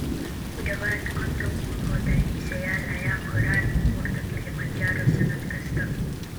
Kudawad konton kun oo dalxisyal eh aya kooran burta Kilomanjaro sanad kistaa.